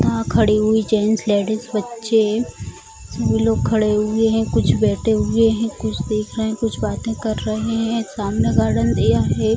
यहाँ खड़ी हुई जेंट्स लेडिस बच्चे सभी लोग खड़े हुए हैं कुछ बैठे हुए हैं कुछ देख रहें हैं कुछ बातें कर रहें हैं सामने गार्डन एरिया है।